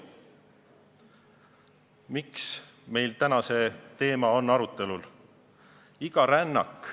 Miks see teema meil täna arutelul on?